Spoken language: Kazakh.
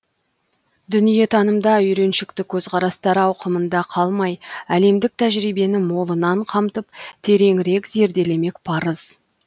дүниетанымда үйреншікті көзқарастар ауқымында қалмай әлемдік тәжірибені молынан қамтып тереңірек зерделемек парыз